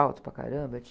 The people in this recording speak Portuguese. Alto para caramba.